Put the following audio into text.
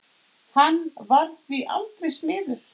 Hann varð því aldrei smiður.